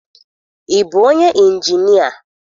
Ị bụ onye ịnjinịa?